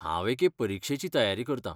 हांव एके परिक्षेची तयारी करतां.